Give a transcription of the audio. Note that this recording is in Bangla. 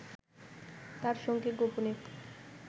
তার সঙ্গে গোপনে